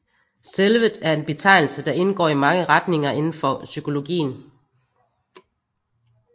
Selvet er en betegnelse der indgår i mange retninger indenfor psykologien